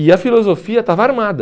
E a filosofia estava armada.